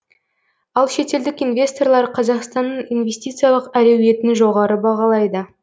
ал шетелдік инвесторлар қазақстанның инвестициялық әлеуетін жоғары бағалайды